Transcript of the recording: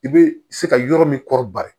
I bɛ se ka yɔrɔ min kɔrɔ bari